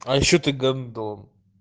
а ещё ты гандон